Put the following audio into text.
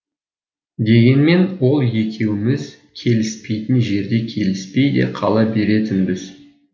дегенмен ол екеуміз келіспейтін жерде келіспей де қала беретінбіз